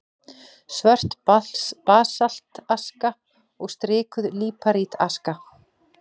Svört basaltaska og strikuð líparítaska.